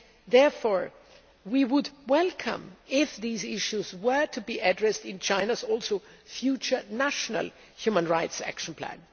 Therefore we would welcome it if these issues were to be addressed in China's future national human rights action plan.